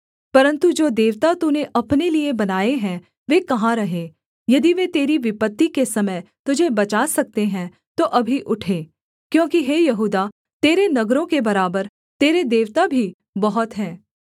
परन्तु जो देवता तूने अपने लिए बनाए हैं वे कहाँ रहे यदि वे तेरी विपत्ति के समय तुझे बचा सकते हैं तो अभी उठें क्योंकि हे यहूदा तेरे नगरों के बराबर तेरे देवता भी बहुत हैं